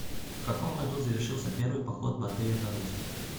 в каком году завершился первый поход батыя на русь